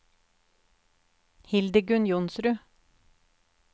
Hildegunn Johnsrud